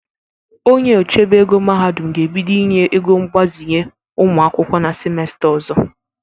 Onye ochebe ego mahadụm ga-ebido inye ego mgbazinye ụmụ akwụkwọ na simesta ọzọ.